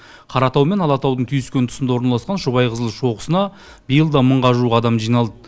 қаратау мен алатаудың түйіскен тұсында орналасқан шұбайқызыл шоқысына биыл да мыңға жуық адам жиналды